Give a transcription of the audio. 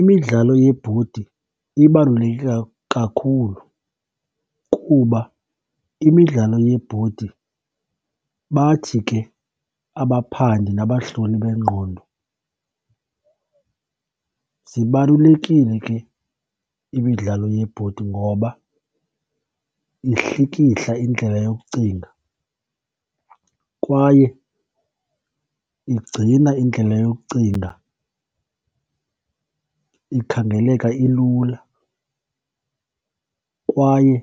Imidlalo yebhodi ibaluleke kakhulu kuba imidlalo yebhodi bathi ke abaphandi nabahloli bengqondo, zibalulekile ke imidlalo yebhodi ngoba ihlikihla indlela yokucinga kwaye igcina indlela yokucinga ikhangeleka ilula, kwaye